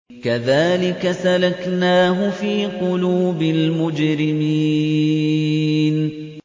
كَذَٰلِكَ سَلَكْنَاهُ فِي قُلُوبِ الْمُجْرِمِينَ